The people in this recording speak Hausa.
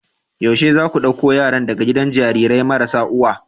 yaushe zaku dauko yaran daga gidajen Jarirai marasa uwa